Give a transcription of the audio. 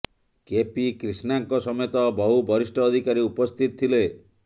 KP କ୍ରିଷ୍ଣାଙ୍କ ସମେତ ବହୁ ବରିଷ୍ଠ ଅଧିକାରୀ ଉପସ୍ଥିତ ଥିଲେ